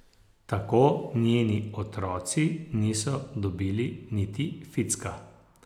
Tako njeni otroci niso dobili niti ficka.